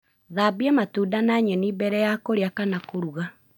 Thambia matunda na nyeni mbere ya kũrĩa kana kũruga.